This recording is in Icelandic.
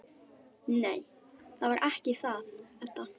Nei, það var ekki það, Edda.